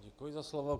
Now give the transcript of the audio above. Děkuji za slovo.